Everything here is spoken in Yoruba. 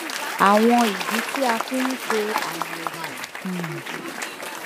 àwọn ìdí tí a fi ń ṣe àyẹwò um